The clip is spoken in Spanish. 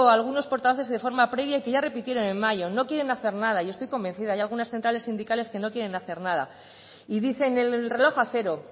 algunos portavoces de forma previa y ya repitieron en mayo no quieren hacer nada y estoy convencida hay algunas centrales sindicales que no quieren hacer nada y dicen el reloj a cero